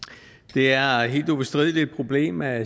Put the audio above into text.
vi er er helt ubestrideligt et problem at